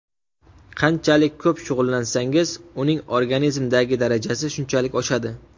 Qanchalik ko‘p shug‘ullansangiz, uning organizmdagi darajasi shunchalik oshadi.